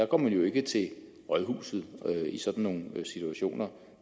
går jo ikke til rådhuset i sådan nogle situationer